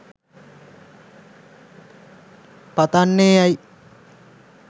පතන්නෙ ඇයි?